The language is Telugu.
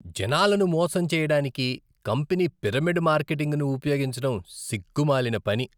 జనాలను మోసం చేయడానికి కంపెనీ పిరమిడ్ మార్కెటింగ్ను ఉపయోగించడం సిగ్గు మాలిన పని.